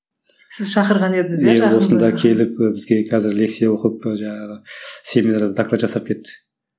енді осында келіп і бізге қазір лекция оқып і жаңағы семинарға доклад жасап кетті